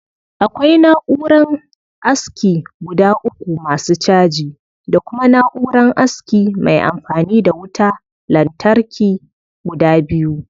Akwai na'uran aski guda uku masu caji, Da kuma na'uran aski mai anfani da wuta latarki guda biyu